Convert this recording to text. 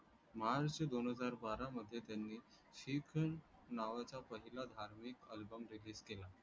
मार्च दोन हजार बारा मध्ये त्यांनी नावाचा पहिला धार्मिक album release केला